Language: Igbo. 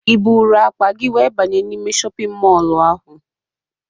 Ị buuru akpa gị wee banye n'ime shọpịn mọlụ ahụ?